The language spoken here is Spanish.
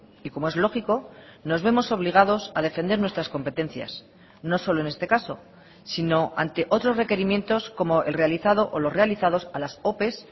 y como es lógico nos vemos obligados a defender nuestras competencias no solo en este caso sino ante otros requerimientos como el realizado o los realizados a las ope